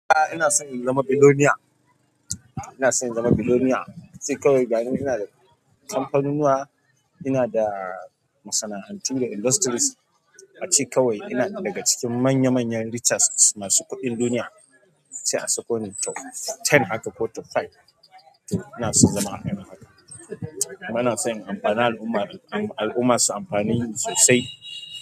Ahh. Ina son in zama billionaire. Ina son in zama billionaire. Se kawai gani nan ina da kamfanunnuwa, ina da masana'antu da industries. A ce kawai ina daga cikin manya manyan richest masu kuɗin duniya. A ce a sako ni top ten haka ko top five. Ina son in zama hakanin haka kuma ina son in amfani al'umma, al'umma su amfane ni sosai.